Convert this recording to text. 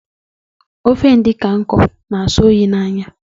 Ofe edikang ikong na- asó oyi n' ányá.